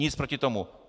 Nic proti tomu.